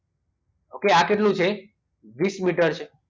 okay આ કેટલું છે વીસ મીટર છે